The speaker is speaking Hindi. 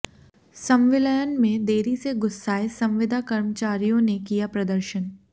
संविलयन में देरी से गुस्साए संविदा कर्मचारियों ने किया प्रदर्शन